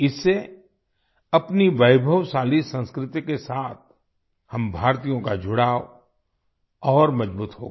इससे अपनी वैभवशाली संस्कृति के साथ हम भारतीयों का जुड़ाव और मजबूत होगा